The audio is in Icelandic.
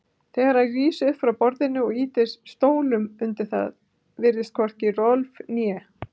Þegar hann rís upp frá borðinu og ýtir stólnum undir það virðast hvorki Rolf né